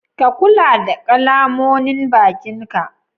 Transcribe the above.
Ka kulla da ƙalamonin bakin ka?